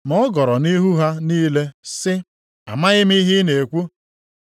Ma ọ gọrọ nʼihu ha niile sị, “Amaghị m ihe ị na-ekwu.”